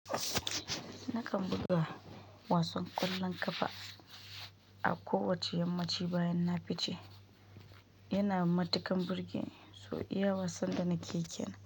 Nakan buga wasan ƙwallon ƙafa a kowacce yammanci bayan na fice. Yana matukan birgeni su iya wasan da na kekena.